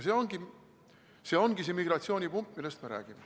See ongi see immigratsioonipump, millest me räägime.